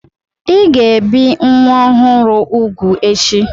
Ị ga-ebi nwa ọhụrụ úgwù echi!